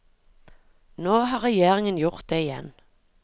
Nå har regjeringen gjort det igjen.